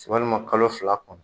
kalo fila kɔnɔ